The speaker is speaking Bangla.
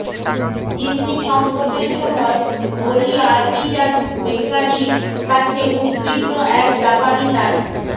জিম্মি সঙ্কটের সময় হলি আর্টিজান বেকারির কাছে উদ্বিগ্ন এক জাপানি নারী